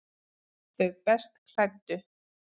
Þau best klæddu